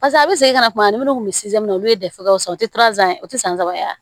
Pase a bɛ segin ka na kuma ni minnu kun bɛ olu ye dɛfu tɛ o tɛ san saba ye wa